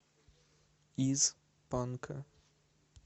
из панка